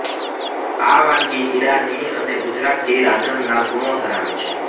આ વાનગી ઈરાની અને ગુજરાતી રાંધણના ગુણો ધરાવે છે